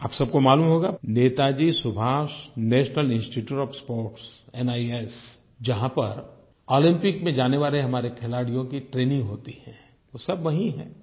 आप सब को मालूम होगा Netaji Subhash National Institute of Sports NIS जहाँ पर ओलम्पिक में जाने वाले हमारे खिलाड़ियों की ट्रेनिंग होती है वो सब वही हैं